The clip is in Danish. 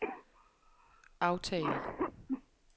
aftal